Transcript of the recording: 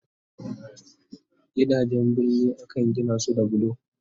Gidajen birni Akan Gina su da bulo